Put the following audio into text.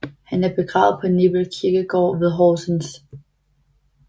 Han er begravet på Nebel Kirkegård ved Horsens